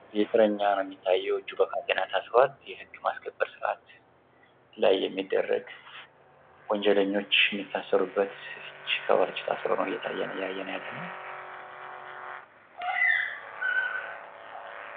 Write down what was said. ይህ እስረኛ ነው የሚታየው እጁን በካቴና ታስሯል የህግ ማስከበር ላይ የሚደረግ ወንጀለኞች የሚታሰሩበት እጅ ታስሮ ነው እያየን ያለነው።